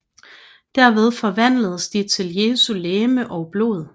Derved forvandles de til Jesu legeme og blod